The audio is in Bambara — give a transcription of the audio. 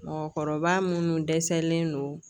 Mɔgɔkɔrɔba munnu dɛsɛlen do